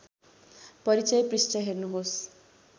परिचय पृष्ठ हेर्नुहोस्